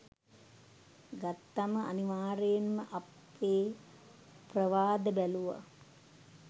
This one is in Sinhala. ගත්තම අනිවාර්යෙන්ම අපේ ප්‍රවාද බැලුවා.